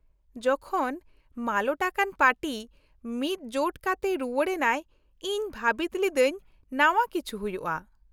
-ᱡᱚᱠᱷᱚᱱ ᱢᱟᱞᱚᱴ ᱟᱠᱟᱱ ᱯᱟᱨᱴᱤ ᱢᱤᱫᱡᱳᱴ ᱠᱟᱛᱮ ᱨᱩᱣᱟᱹᱲ ᱮᱱᱟᱭ, ᱤᱧ ᱵᱷᱟᱹᱵᱤᱛ ᱞᱤᱫᱟᱹᱧ ᱱᱟᱣᱟ ᱠᱤᱪᱷᱩ ᱦᱩᱭᱩᱜᱼᱟᱹᱹᱹ